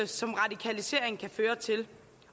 som radikalisering kan føre til